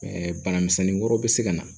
bana misɛnnin wɛrɛw bɛ se ka na